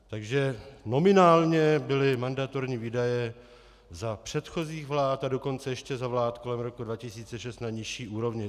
Takže nominálně byly mandatorní výdaje za předchozích vlád, a dokonce ještě za vlád kolem roku 2006 na nižší úrovni.